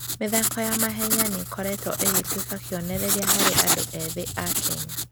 mĩthako ya mahenya nĩ ĩkoretwo ĩgĩtuĩka kĩonereria harĩ andũ ethĩ a Kenya.